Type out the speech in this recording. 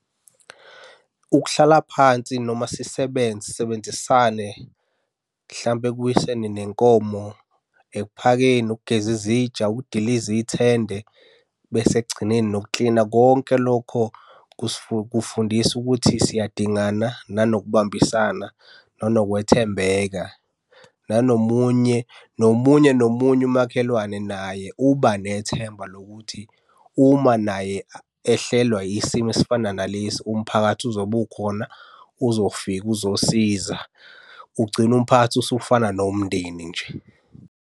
Ukuhlala phansi noma sisebenze sisebenzisane mhlampe ekuwiseni nenkomo. Ekuphakeni, ukugeza izitsha, ukudiliza ithende, bese ekugcineni nokuklina. Konke lokho kusifundisa ukuthi siyadingana nanokubambisana nanokwethembeka. Nanomunye nomunye nomunye umakhelwane naye uba nethemba lokuthi uma naye ehlelwa isimo esifana nalesi umphakathi uzobe ukhona, uzofika, uzosiza ugcine umphakathi usufana nomndeni nje.